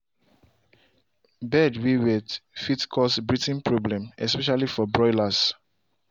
bed way wet fit cause breathing problem especially for broilers